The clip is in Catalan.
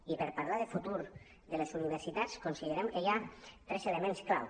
i per parlar del futur de les universitats considerem que hi ha tres elements clau